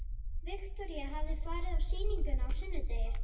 Viktoría hafði farið á sýninguna á sunnudegi.